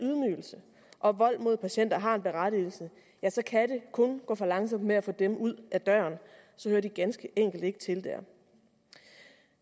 og vold mod patienter har en berettigelse så kan det kun gå for langsomt med at få dem ud ad døren så hører de ganske enkelt ikke til dér